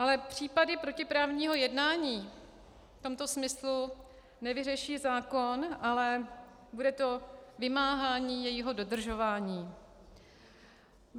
Ale případy protiprávního jednání v tomto smyslu nevyřeší zákon, ale bude to vymáhání jejího dodržování.